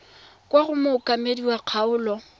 kwa go mookamedi wa kgaolo